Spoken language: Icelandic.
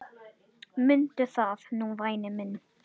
Mundu það nú væni minn.